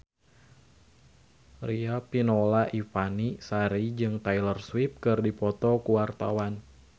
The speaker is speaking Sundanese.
Riafinola Ifani Sari jeung Taylor Swift keur dipoto ku wartawan